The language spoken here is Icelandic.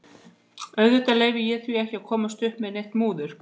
Og auðvitað leyfi ég því ekki að komast upp með neitt múður.